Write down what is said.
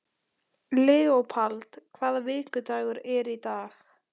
Leópold, hvaða vikudagur er í dag?